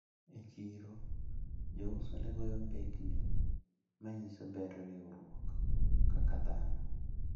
E chiro jouso ne goyo mbekni manyiso ber riwruok kaka dhano.